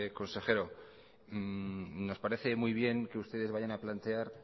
consejero nos parece muy bien que ustedes vayan a plantear